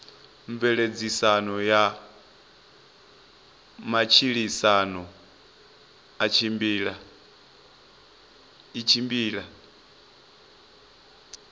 mveledziso ya matshilisano i tshimbila